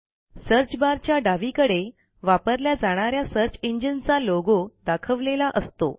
search बारच्या डावीकडे वापरल्या जाणा या सर्च engineचा लोगो दाखवलेला असतो